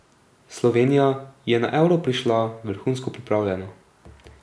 Slovenija je na Euro prišla vrhunsko pripravljena.